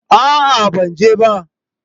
A'a ban je ba